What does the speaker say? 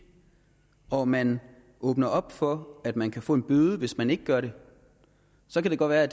og man åbner op for at man kan få en bøde hvis man ikke gør det så kan det godt være at